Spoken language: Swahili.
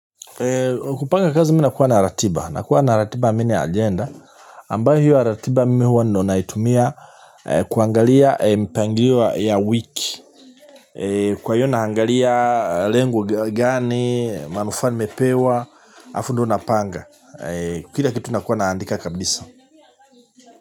Kupanga kazi mi na kuwa na ratiba, na kuwa na ratiba mina agenda ambayo hiyo ratiba mimi wando naitumia kuangalia mpangliwa ya wiki. Kwa hiyo naangalia lengo gani, manufaa nimepewa, alafu ndio napanga. Kila kitu nakuwa naandika kabisa.